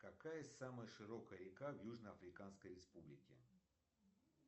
какая самая широкая река в южно африканской республике